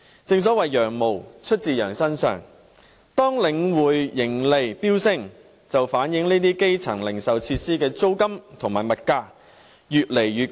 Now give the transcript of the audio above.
正所謂"羊毛出自羊身上"，當領展盈利飆升，便反映這些基層零售設施的租金和物價越來越貴。